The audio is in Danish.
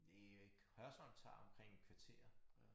Det ved jeg ikke Hørsholm tager omkring et kvarter